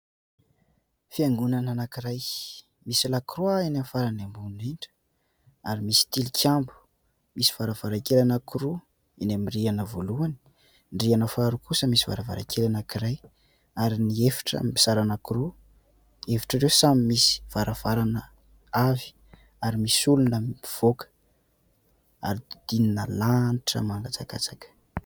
Fiangonana anankiray, misy lakroa eny amin'ny farany ambony indrindra ary misy tilikambo. Misy varavarankely anankiroa eny amin'ny rihana voalohany, ny rihana faharoa kosa misy varavarankely anankiray ary ny efitra mizara anankiroa ; efitra ireo samy misy varavarana avy ary misy olona mivoaka ary dodinina lanitra mangatsakatsaka.